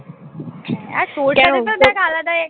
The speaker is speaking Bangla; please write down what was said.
আর তোর দেখ আলাদাই